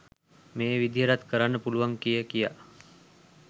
මේ විදිහටත් කරන්න පුළුවන් කිය කිය